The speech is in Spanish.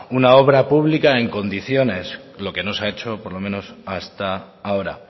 una obra pública en condiciones lo que no se ha hecho por lo menos hasta ahora